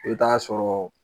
I bɛ t'a sɔrɔ